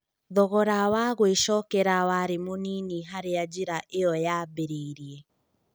Thogora wa gũĩcokera warĩ mũnini harĩa njĩra ĩyo yambĩrĩirie.